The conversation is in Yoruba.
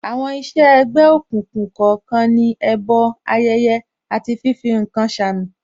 Àwọn iṣẹ́ ẹ̀gbẹ́ òkùnkùn kọ̀ọ̀kan ní, ẹbọ, ayẹyẹ, àti fífi ǹkan ṣe àmì